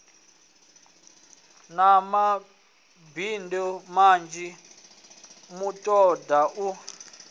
na madindi manzhi mutoga u